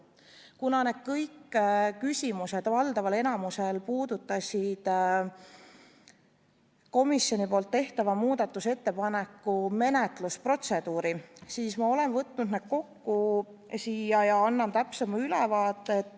Kuna kõik need küsimused puudutasid valdavalt komisjoni tehtava muudatusettepaneku menetlemise protseduuri, siis ma olen võtnud need kokku ja annan täpsema ülevaate.